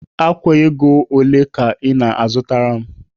Ákwà ego ole ka ị na-azụtara m?